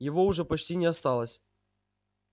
его уже почти не осталось